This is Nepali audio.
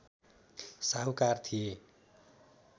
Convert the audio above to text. साहुकार थिए